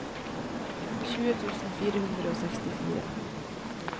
tjue tusen fire hundre og sekstifire